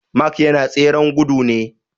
Mark yana tseren gudu ne